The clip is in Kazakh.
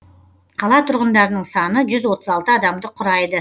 қала тұрғындарының саны жүз отыз алты адамды құрайды